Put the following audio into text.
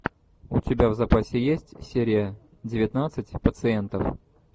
у тебя в запасе есть серия девятнадцать пациентов